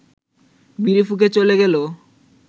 বিড়ি ফুঁকে চ’লে গেলো